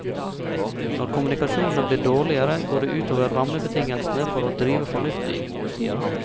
Når kommunikasjonene blir dårligere, går det ut over rammebetingelsene for å drive fornuftig, sier han.